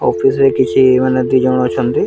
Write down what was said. ଅଫିସରେ କିଛି ମାନେ ଦୁଇଜଣ ଅଛନ୍ତି।